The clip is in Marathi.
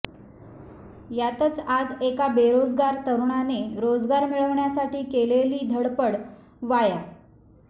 यातच आज एका बेरोजगार तरूणाने रोजगार मिळवण्यासाठी केलेली धडपड वाया